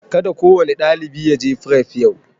Ka da kowane ɗalibi ya je fref yau!